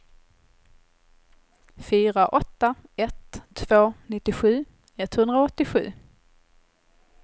fyra åtta ett två nittiosju etthundraåttiosju